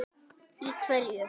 Í hverju?